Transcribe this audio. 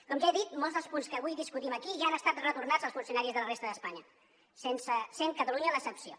com ja he dit molts dels punts que avui discutim aquí ja han estat retornats als funcionaris de la resta d’espanya sent catalunya l’excepció